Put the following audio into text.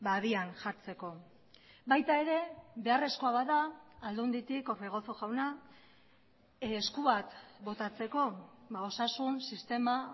abian jartzeko baita ere beharrezkoa bada aldunditik orbegozo jauna esku bat botatzeko osasun sistema